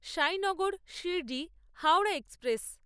Sainagar Shirdi Howrah express